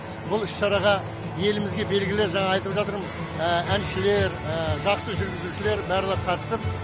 бұл іс шараға елімізге белгілі жаңағы айтып жатырмын әншілер жақсы жүргізушілер барлығы қатысып